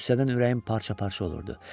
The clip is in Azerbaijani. Qüssədən ürəyim parça-parça olurdu.